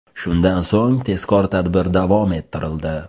Shundan so‘ng tezkor tadbir davom ettirildi.